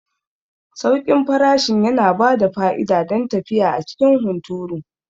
Sauƙin farashin yana bada fa'ida don tafiya a cikin hunturu.